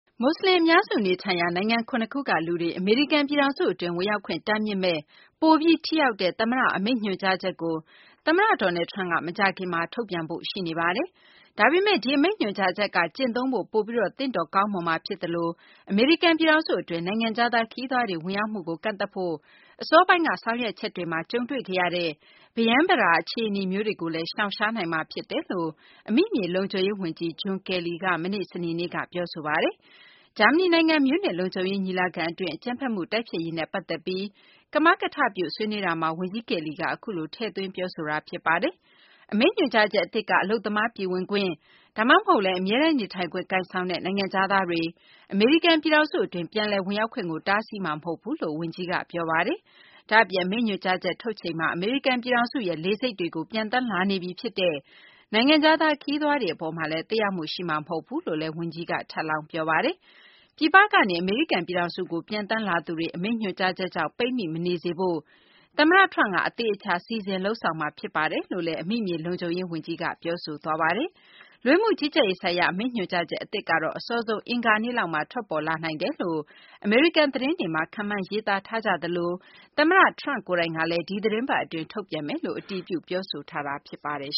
မွတ်စလင် အများစု နေထိုင်ရာ နိုင်ငံ ၇ ခုကလူတွေကို အမေရိကန် ပြည်ထောင်စု အတွင်း ဝင်ရောက်ခွင့် တားမြစ်မယ့် ပိုပြီး ထိရောက်တဲ့ သမ္မတ အမိန့်ညွှန်ကြားချက်ကို သမ္မတ Donald Trump က မကြာခင်မှာ ထုတ်ပြန်ဖို့ ရှိနေပါတယ်။ ဒါပေမယ့် ဒီအမိန့်ညွှန်ကြားချက်က ကျင့်သုံးဖို့ ပိုပြီး ကောင်းမွန်မှာ ဖြစ်သလို အမေရိကန် ပြည်ထောင်စု အတွင်း နိုင်ငံခြားသား ခရီးသွားတွေ ဝင်ရောက်မှုကို ကန့်သတ်ဖို့ အစောပိုင်းက ဆောင်ရွက်ချက်တွေမှာ ကြုံတွေ့ခဲ့ရတဲ့ ပရမ်းပတာ အခြေအနေမျိုးတွေကိုလည်း ရှောင်ရှားနိုင်မှာ ဖြစ်တယ်လို့ အမိမြေ လုံခြုံရေး ဝန်ကြီး John Kelly က မနေ့ စနေနေ့က ပြောဆိုပါတယ်။ ဂျာမနီ နိုင်ငံ မြူးနစ်လုံခြုံရေး ညီလာခံ အတွင်း အကြမ်းဖက်မှု တိုက်ဖျက်ရေးနဲ့ပတ်သက်ပြီး ကမကထပြု ဆွေးနွေးတာမှာ ဝန်ကြီး Kelly က အခုလို ထည့်သွင်းပြောဆိုတာ ဖြစ်ပါတယ်။ အမိန့်ညွှန်ကြားချက် အသစ်က အလုပ်သမား ပြည်ဝင်ခွင့်၊ ဒါမှမဟုတ်လည်း အမြဲတမ်းနေထိုင်ခွင့် ကိုင်ဆောင်တဲ့ နိုင်ငံခြားသားတွေ အမေရိကန် ပြည်ထောင်စု အတွင်း ပြန်လည် ဝင်ရောက်ခွင့်ကို တားဆီးမှာ မဟုတ်ဘူးလို့ ဝန်ကြီး ကယ်လီက ပြောပါတယ်။ ဒါ့အပြင် အမိန့်ညွှန်ကြားချက် ထုတ်ချိန်မှာ အမေရိကန်ပြည်ထောင်စုရဲ့ လေဆိပ်တွေကို ပျံသန်းလာနေပြီ ဖြစ်တဲ့ နိုင်ငံခြားသား ခရီးသွားတွေ အပေါ်မှာလည်း သက်ရောက်မှု ရှိမှာမဟုတ်ဘူးလို့လည်း ဝန်ကြီးက ထပ်လောင်း ပြောပါတယ်။ ပြည်ပနေက အမေရိကန် ပြည်ထောင်စုကို ပျံသန်းလာသူတွေ အမိန့်ညွှန်ကြားချက်ကြောင့် ပိတ်မိမနေစေဖို့ သမ္မတ ထရမ့်က အသေအချာ စီစဉ် လုပ်ဆောင်မှာ ဖြစ်ပါတယ်လို့လည်း အမိမြေ လုံခြုံရေး ဝန်ကြီးက ပြောဆိုသွားပါတယ်။ လူဝင်မှု ကြီးကြပ်ရေးဆိုင်ရာ အမိန့်ညွှန်ကြားချက် အသစ်ကတော့ အစောဆုံး အင်္ဂါနေ့လောက်မှာ ထွက်ပေါ်လာနိုင်တယ်လို့ အမေရိကန် သတင်းတွေမှာ ခန့်မှန်းရေးသားထားကြပြီး သမ္မတ Trump ကိုယ်တိုင်ကလည်း ဒီသီတင်းပတ်အတွင်း ထုတ်ပြန်မယ်လို့ အတည်ပြု ပြောဆိုထားတာ ဖြစ်ပါတယ်